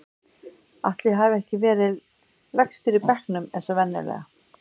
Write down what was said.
Ætli ég hafi ekki verið lægstur í bekknum eins og venjulega.